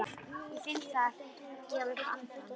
Ég finn það gefa upp andann.